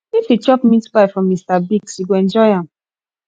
if you chop meat pie from mr biggs you go enjoy am